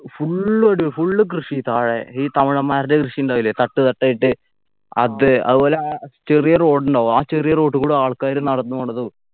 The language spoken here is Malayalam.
full ഒരു full കൃഷി താഴെ ഈ തമിഴന്മാരുടെ കൃഷി ഉണ്ടാവൂലെ തട്ട് തട്ടായിട്ട് അത് അതുപോലെ ചെറിയ road ഉണ്ടാവു ആ ചെറിയ road ക്കൂടെ ആള്ക്കാര് നടന്നു പോണതും